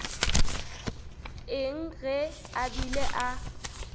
eng ge a bile a